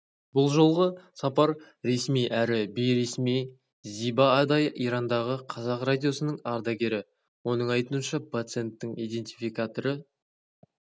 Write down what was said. бұл жолғы сапар ресми әрі бейресми зиба адай ирандағы қазақ радиосының ардагері оның айтуынша пациенттің иденфикаторы